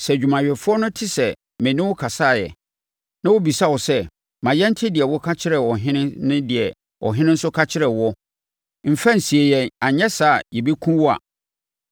Sɛ adwumayɛfoɔ no te sɛ me ne wo kasaeɛ, na wɔbɛbisa wo sɛ, ‘Ma yɛnte deɛ woka kyerɛɛ ɔhene ne deɛ ɔhene nso ka kyerɛɛ woɔ; mfa nsie yɛn anyɛ saa a yɛbɛkum wo a,’